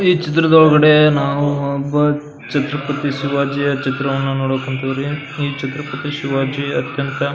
ಈ ಚಿತ್ರದ ಒಳಗಡೆ ನಾವು ಒಬ್ಬ ಛತ್ರಪತಿ ಶಿವಾಜಿಯ ಚಿತ್ತ್ರವನ್ನು ನೋಡಕ್ ಹೊಂತೀವ್ರಿ ಈ ಛತ್ರಪತಿ ಶಿವಾಜಿ ಅತ್ಯಂತ --